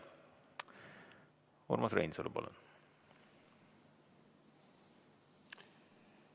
Urmas Reinsalu, palun!